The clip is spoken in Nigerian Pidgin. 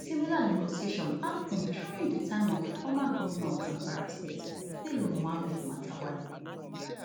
similar negotiation happun during di time of former governor of zamfara state bello muhammad matawalle